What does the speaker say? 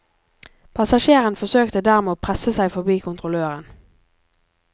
Passasjeren forsøkte dermed å presse seg forbi kontrolløren.